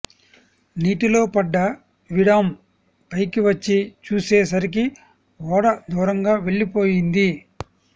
నీటిలో పడ్డ విడామ్ పైకి వచ్చి చూసే సరికి ఓడ దూరంగా వెళ్లిపోయింది